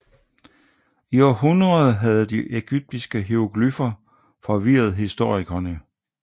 I århundreder havde de ægyptiske hieroglyffer forvirret historikerne